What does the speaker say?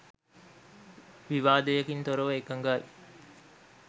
විවාදයකින් තොරව එකඟයි